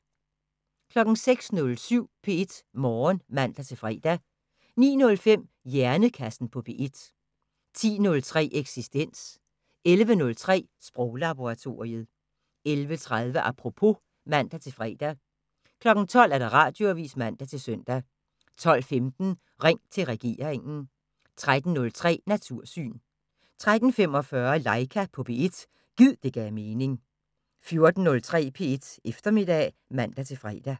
06:07: P1 Morgen (man-fre) 09:05: Hjernekassen på P1 10:03: Eksistens 11:03: Sproglaboratoriet 11:30: Apropos (man-fre) 12:00: Radioavisen (man-søn) 12:15: Ring til regeringen 13:03: Natursyn 13:45: Laika på P1 – gid det gav mening 14:03: P1 Eftermiddag (man-fre)